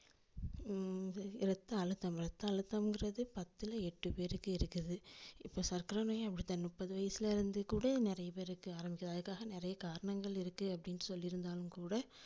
உம் இரத்தஅழுத்தம் இரத்தஅழுத்தம்ங்குறது பத்துல எட்டு பேருக்கு இருக்குது. இப்போ சர்க்கரநோயும் அப்டித்தான் முப்பது வயசுல இருந்து கூட நிறைய பேருக்கு ஆரம்பிக்குது அதுக்காக நிறைய காரணங்கள் இருக்கு அப்டின்னு சொல்லிருந்தாலும் கூட